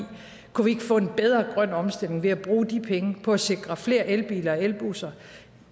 kunne vi ikke få en bedre grøn omstilling ved at bruge de penge på at sikre flere elbiler elbusser